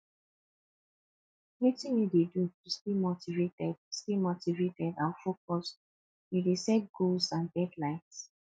wetin you dey do to stay motivated stay motivated and focused you dey set goals and deadlines